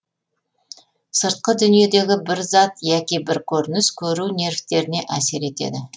сыртқы дүниедегі бір зат яки бір көрініс көру нервтеріне әсер етеді